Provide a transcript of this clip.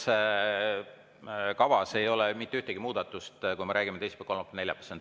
Selles kavas ei ole mitte ühtegi muudatust, kui me räägime teisipäevast, kolmapäevast või neljapäevast.